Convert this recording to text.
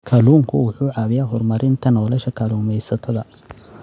Kalluunku waxa uu caawiyaa horumarinta nolosha kalluumaysatada.